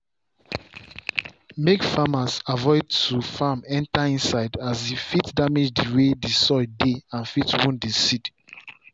make farmers avoid to farm enter inside as e fit damage the way the soil dey and fit wound seed.